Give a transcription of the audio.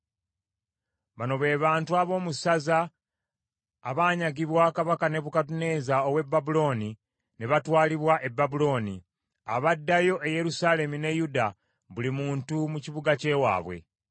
Bano be bantu ab’omu ssaza, abanyagibwa Kabaka Nebukadduneeza ow’e Babulooni ne batwalibwa e Babulooni, abaddayo e Yerusaalemi ne Yuda buli muntu mu kibuga ky’ewaabwe.